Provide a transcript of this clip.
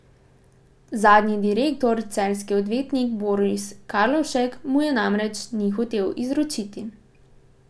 Zadnji direktor, celjski odvetnik Boris Karlovšek, mu je namreč ni hotel izročiti.